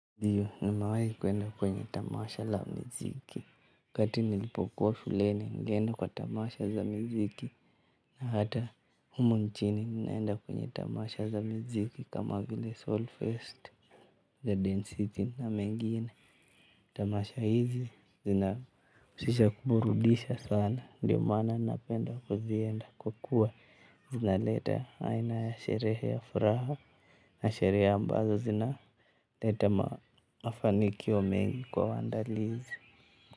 Ndio. Nimewahi kwenda kwenye tamasha la mziki. Wakati nilipokuwa shuleni nilienda kwa tamasha za miziki. Na hata humu nchini ninaenda kwenye tamasha za miziki kama vile solfest, Garden city na mengine. Tamasha hizi zinahusisha kuburudisha sana. Ndio maana napenda kuzienda kwa kuwa, zina leta aina ya sherehe ya furaha. Na sherehe ambazo zina leta mafanikio mengi kwa waandalizi.